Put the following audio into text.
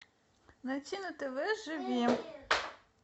найти на тв живи